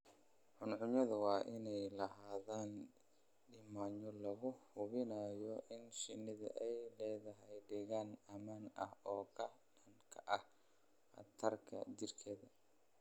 Cuncunyadu waa inay lahaadaan nidaamyo lagu hubinayo in shinnidu ay leedahay deegaan ammaan ah oo ka dhan ah khataraha jireed.